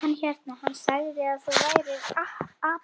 Hann hérna. hann sagði að þú værir api.